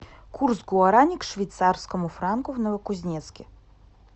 курс гуарани к швейцарскому франку в новокузнецке